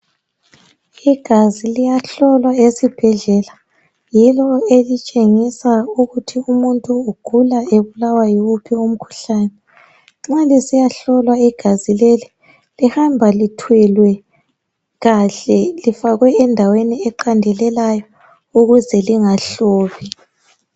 Igazi liyahlolwa esibhedlela, yilo elitshengisa ukuthi umuntu ugula ebulawa yiwuphi umkhuhlane. Nxa lisiyahlolwa igazi leli lihamba lithwelwe kahle lifakwe endaweni eqandelelayo ukuze lingahlobi.